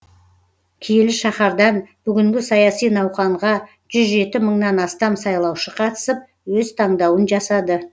киелі шаһардан бүгінгі саяси науқанға жүз жеті мыңнан астам сайлаушы қатысып өз таңдауын жасады